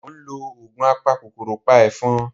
Mo ń lo oògùn apakòkòrò pa ẹ̀fọn